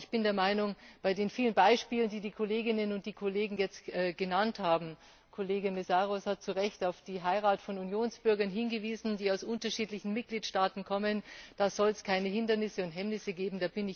Aber ich bin der Meinung, bei den vielen Beispielen, die die Kolleginnen und Kollegen jetzt genannt haben Kollege Mészáros hat zu Recht auf die Heirat von Unionsbürgern hingewiesen, die aus unterschiedlichen Mitgliedstaaten kommen da soll es keine Hindernisse oder Hemmnisse geben.